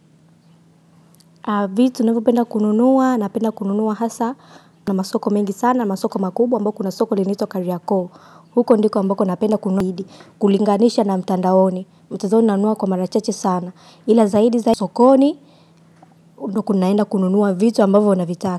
Vitu navyopenda kununua, napenda kununua hasa, na masoko mengi sana, masoko makubwa ambako kuna soko linaitwa Kariakoo, huko ndiko ambako napenda kununua, kulinganisha na mtandaoni, utaziona na huwa kwa marachache sana, ila zaidi zaidi sokoni, ndiko naenda kununua vitu ambavyo na vitaka.